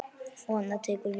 Og annað tekur við.